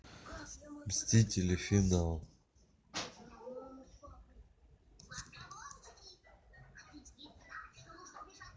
мстители финал